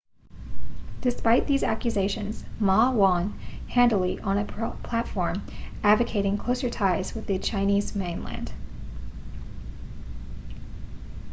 despite these accusations ma won handily on a platform advocating closer ties with the chinese mainland